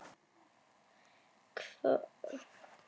Hvað hefur komið þér á óvart í fyrri hluta móts?